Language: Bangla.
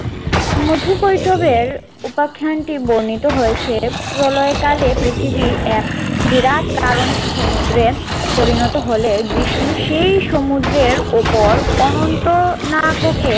মধু কৈতবের উপাখ্যানটি বর্ণিত হয়েছে প্রলয়কালে পৃথিবী এক বিরাট কারণ সমুদ্রে পরিণত হলে বিষ্ণু সেই সমুদ্রের উপর অনন্ত নাগকে